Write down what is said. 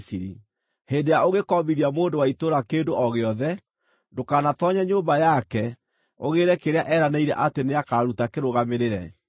Hĩndĩ ĩrĩa ũngĩkombithia mũndũ wa itũũra kĩndũ o gĩothe, ndũkanatoonye nyũmba yake, ũgĩĩre kĩrĩa eranĩire atĩ nĩakaruta kĩrũgamĩrĩre.